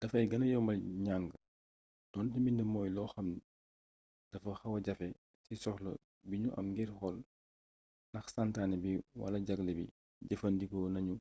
dafay gëna yombal njàng doonte mbind mooy loo xam dafa xawa jafe ci soxla bi nu am ngir xool nax santaane bi wala jagle bi jëfandikoo nañu